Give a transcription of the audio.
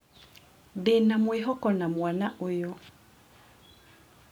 Ndĩ na mwĩhoko na mwana ũyũ.